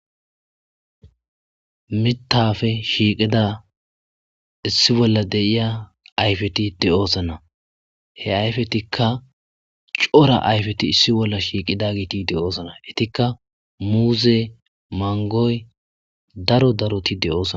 Mitafe shiiqida issi bolla deiya ayfeti de'osona he ayfetikka cora ayfeti issi bolla shiiqida giiti de7oosana itikka muuze mangoy daro daroti de'osona